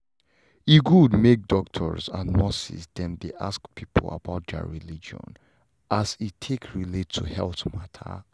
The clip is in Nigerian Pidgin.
good make doctors and nurses dem dey ask people about their religion as e take relate to health matter